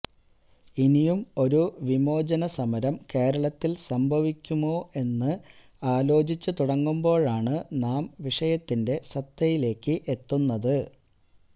ഇനിയും ഒരു വിമോചന സമരം കേരളത്തില് സംഭവിക്കുമോ എന്ന് ആലോചിച്ചുതുടങ്ങുമ്പോഴാണ് നാം വിഷയത്തിന്റെ സത്തയിലേക്ക് എത്തുന്നത്